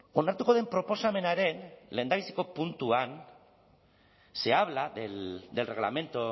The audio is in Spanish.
onartuko den proposamenaren lehendabiziko puntuan se habla del reglamento